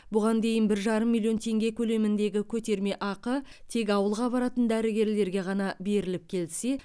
бұған дейін бір жарым миллион теңге көлеміндегі көтерме ақы тек ауылға баратын дәрігерлерге ғана беріліп келсе